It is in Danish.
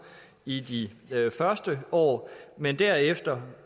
i de første år men derefter